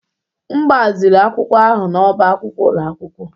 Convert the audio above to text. M gbaziri akwụkwọ ahụ n'ọ́bá akwụkwọ ụlọ akwụkwọ